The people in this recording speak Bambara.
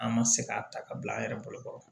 An ma se k'a ta ka bila an yɛrɛ bolokɔrɔ